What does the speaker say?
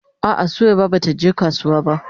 A'a Suwaiba bata je kasuwa ba.